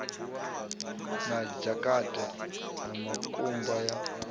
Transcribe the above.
na dzhakate ya mukumba ya